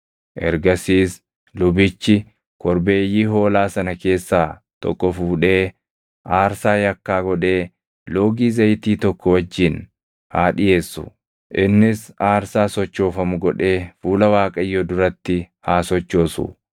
“Ergasiis lubichi korbeeyyii hoolaa sana keessaa tokko fuudhee aarsaa yakkaa godhee loogii zayitii tokko wajjin haa dhiʼeessu; innis aarsaa sochoofamu godhee fuula Waaqayyoo duratti haa sochoosu.